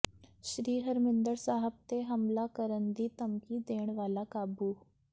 ਸ੍ਰੀ ਹਰਿਮੰਦਰ ਸਾਹਿਬ ਤੇ ਹਮਲਾ ਕਰਨ ਦੀ ਧਮਕੀ ਦੇਣ ਵਾਲਾ ਕਾਬੂ